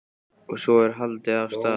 Og svo er haldið af stað.